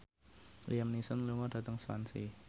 Liam Neeson lunga dhateng Swansea